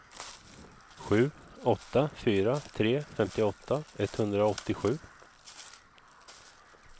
sju åtta fyra tre femtioåtta etthundraåttiosju